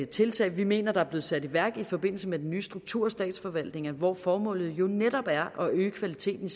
tiltag vi mener der er blevet sat i værk i forbindelse med den nye struktur af statsforvaltningen hvor formålet jo netop er at øge kvaliteten